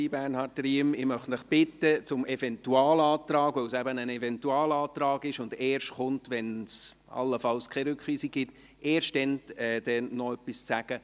Ich möchte Sie alle bitten, zum Eventualantrag – weil es eben ein Eventualantrag ist und dieser erst folgt, wenn es allenfalls keine Rückweisung gibt – erst dann noch etwas zu sagen.